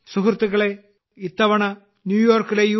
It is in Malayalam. സുഹൃത്തുക്കളേ ഇത്തവണ ന്യൂയോർക്കിലെ യു